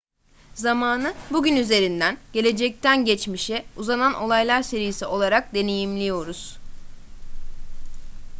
zamanı bugün üzerinden gelecekten geçmişe uzanan olaylar serisi olarak deneyimliyoruz